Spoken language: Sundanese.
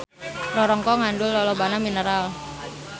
Rorongkong ngandung lolobana mineral.